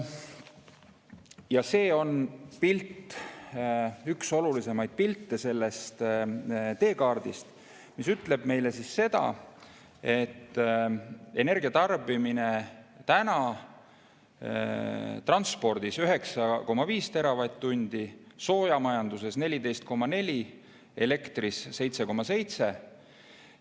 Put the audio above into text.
Ja see on pilt , üks olulisimaid pilte sellest teekaardist, mis ütleb meile seda, et energia tarbimine transpordis on praegu 9,5 teravatt-tundi, soojamajanduses 14,4 ja elektrisüsteemis 7,7 teravatt-tundi.